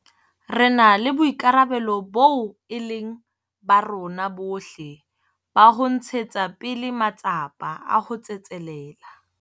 Re na le boikarabelo boo e leng ba rona bohle ba ho ntshetsa pele matsapa a ho tsetselela